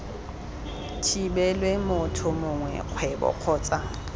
thibelwe motho mongwe kgwebo kgotsa